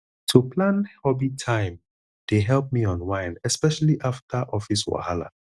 to plan hobby time dey help me unwind especially after office wahala